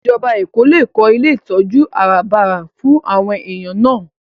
Ìjọba Èkó lè kó ilé ìtọ́jú àràbarà fún àwọn èèyàn náà